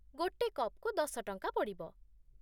ଗୋଟେ କପ୍‌କୁ ଦଶ ଟଙ୍କା ପଡ଼ିବ ।